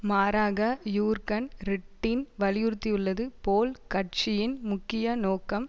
மாறாக Jurgen Trittin வலியுறுத்தியுள்ளது போல் கட்சியின் முக்கிய நோக்கம்